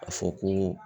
A fɔ ko